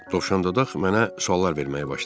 Dovşandodaq mənə suallar verməyə başladı.